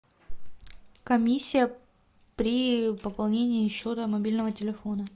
комиссия при пополнении счета мобильного телефона